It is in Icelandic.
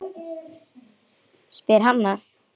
spyr Hanna.